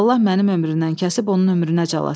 Allah mənim ömrümdən kəsib onun ömrünə calasın.